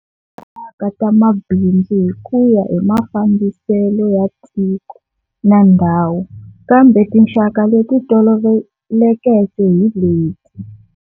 Tinxakaxaka ta mabindzu hikuya hi mafambisele ya tiko na ndhawu, kambe tinxaka leti tolovelekeke hileti-